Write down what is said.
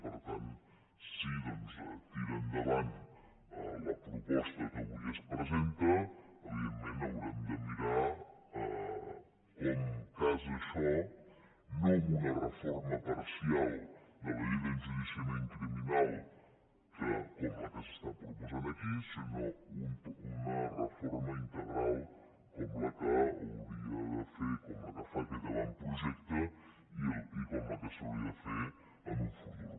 per tant si doncs tira endavant la proposta que avui es presenta evidentment haurem de mirar com casa això no amb una reforma parcial de la llei d’enjudiciament criminal com la que s’està proposant aquí sinó amb una reforma integral com la que hauria de fer com la que fa aquest avantprojecte i com la que s’hauria de fer en un futur